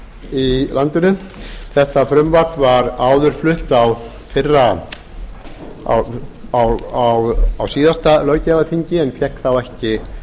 í landinu þetta frumvarp var áður flutt á síðasta löggjafarþingi en fékk þá ekki